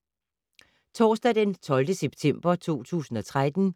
Torsdag d. 12. september 2013